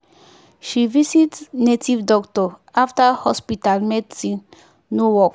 she visit native doctor after hospital medicine no work.